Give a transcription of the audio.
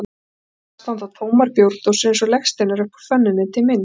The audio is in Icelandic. Hér og þar standa tómar bjórdósir eins og legsteinar upp úr fönninni, til minn